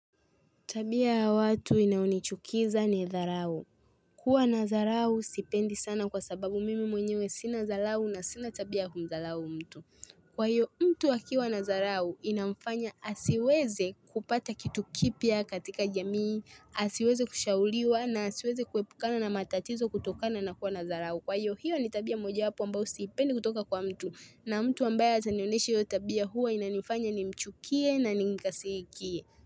Tabia ya watu inayinichukiza ni dharau. Kuwa na dharau sipendi sana kwa sababu mimi mwenyewe sina dharau na sina tabia kumdharau mtu. Kwa hiyo mtu akiwa na dharau inamfanya asiweze kupata kitu kipya katika jamii. Asiweze kushauriwa na asiweze kuepukana na matatizo kutokana na kuwa na dharau Kwa hiyo hiyo ni tabia moja wapo ambayo sipendi kutoka kwa mtu. Na mtu ambaye atanioneshe hiyo tabia huwa inanifanya nimchukie na nimkasirikie.